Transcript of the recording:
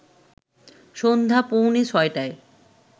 সন্ধ্যা পৌঁনে ৬টায়